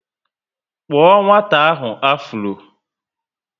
Kpuo nwata ahụ afuro!